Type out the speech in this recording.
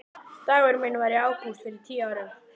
Dagurinn minn var í ágúst fyrir tíu árum.